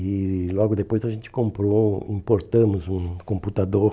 E logo depois a gente comprou, importamos um computador